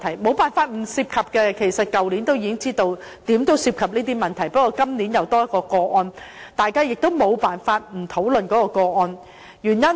其實也沒法不涉及這些問題，去年大家已知道會涉及這些問題，不過今年新增一宗個案，大家也沒辦法不討論這個案。